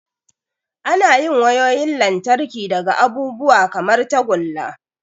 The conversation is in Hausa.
Ana yin wayoyin lantarki daga abubuwa kamar tagulla.